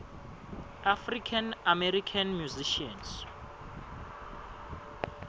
african american musicians